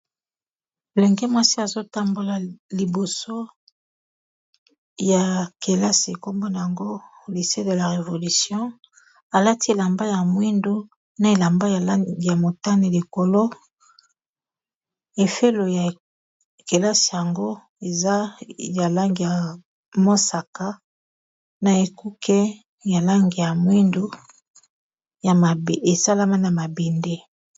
lolenge mwasi azotambola liboso ya kelasi nkombona yango lise de la revolution alati elamba ya mwindu na elamba ya motane likolo efelo ya kelasi yango eza ya lange ya mosaka na ekuke ya lange ya mwindu esalama na mabinde